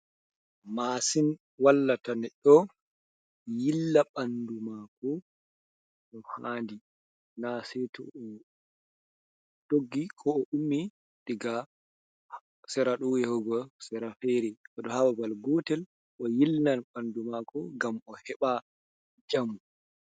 Mashin wallata beddo yilla bandu mako do handi na sei to o doggi ,ko o ummi diga sera do yahugo serafere do hababal gotel o yilnan bandu mako ngam o heɓa jamu.